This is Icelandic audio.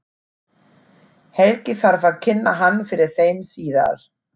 Helgi þarf að kynna hann fyrir þeim síðar.